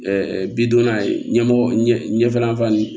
bidonna ye ɲɛmɔgɔ ɲɛ ɲɛfɛlafan ye